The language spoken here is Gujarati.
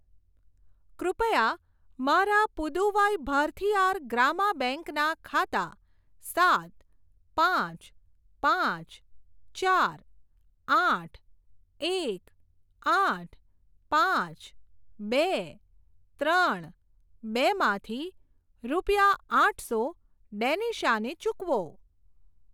કૃપયા મારા પુદુવાઈ ભારથીઆર ગ્રામા બેંક ના ખાતા સાત પાંચ પાંચ ચાર આઠ એક આઠ પાંચ બે ત્રણ બે માંથી રૂપિયા આઠસો ડેનિશા ને ચૂકવો.